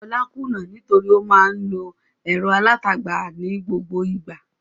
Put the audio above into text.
Olá kùnnà nítorí ó máa ń lo ẹ̀rọ alátagbà ní gbogbo ìgbà.